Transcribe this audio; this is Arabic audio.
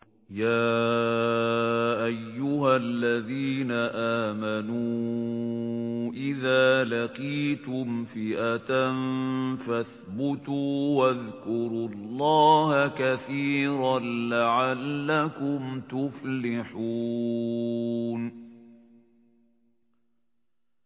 يَا أَيُّهَا الَّذِينَ آمَنُوا إِذَا لَقِيتُمْ فِئَةً فَاثْبُتُوا وَاذْكُرُوا اللَّهَ كَثِيرًا لَّعَلَّكُمْ تُفْلِحُونَ